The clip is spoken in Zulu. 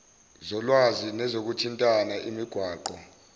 zolwazi nezokuthintana imigwaqo